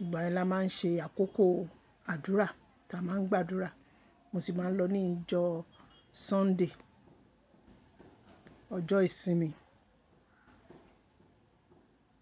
Ìgbà yẹn la máa ń ṣe àkókò àdúrà ta máa ń gbàdúrà. Mo sì máa ń lọ ní ìjọ́ Sunday, ọjọ́ ìsinmi.